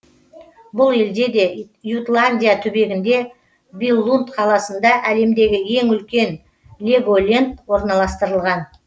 бұл елде де ютландия түбегінде биллунд қаласында әлемдегі ең үлкен леголенд орналастырылған